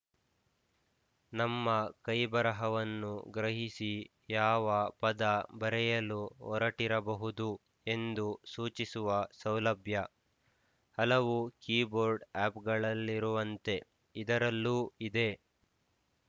ನಮ್ಮ ಕೈಬರಹವನ್ನು ಗ್ರಹಿಸಿ ಯಾವ ಪದ ಬರೆಯಲು ಹೊರಟಿರಬಹುದು ಎಂದು ಸೂಚಿಸುವ ಸೌಲಭ್ಯ ಹಲವು ಕೀಬೋರ್ಡ್ ಆಪ್‍ಗಳಲ್ಲಿರುವಂತೆ ಇದರಲ್ಲೂ ಇದೆ